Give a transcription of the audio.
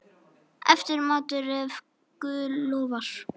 Eftirmatur, ef guð lofar.